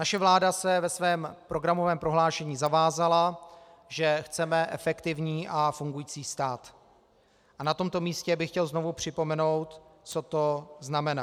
Naše vláda se ve svém programovém prohlášení zavázala, že chceme efektivní a fungující stát, a na tomto místě bych chtěl znovu připomenout, co to znamená.